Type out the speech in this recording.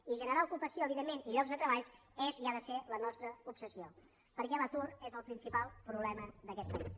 i generar ocupació evidentment i llocs de treball és i ha de ser la nostra obsessió perquè l’atur és el principal problema d’aquest país